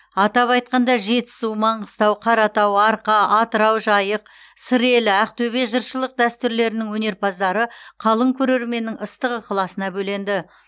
атап айтқанда жетісу маңғыстау қаратау арқа атырау жайық сыр елі ақтөбе жыршылық дәстүрлерінің өнерпаздары қалың көрерменнің ыстық ықыласына бөленді